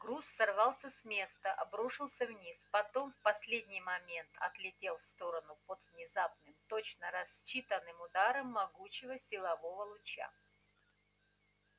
груз сорвался с места обрушился вниз потом в последний момент отлетел в сторону под внезапным точно рассчитанным ударом могучего силового луча